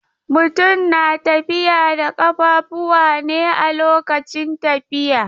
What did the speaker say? Mutum na tafiya da ƙafuwa ne a lokacin tafiya.